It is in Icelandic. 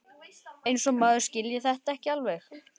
Eins og maður skilji þetta ekki alveg!